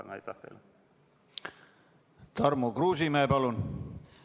Tarmo Kruusimäe, palun!